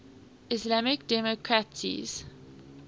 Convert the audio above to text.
islamic democracies